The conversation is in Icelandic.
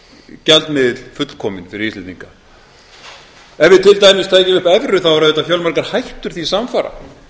gjaldmiðill fullkominn fyrir íslendinga ef við til dæmis tækjum upp evru þá eru auðvitað fjölmargar hættur því samfara